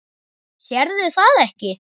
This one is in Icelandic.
Sérðu það ekki?